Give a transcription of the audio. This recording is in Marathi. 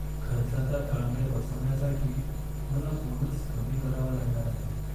खर्चाचा ताळमेळ बसवण्यासाठी मला बोनस कमी करावा लागणार आहे.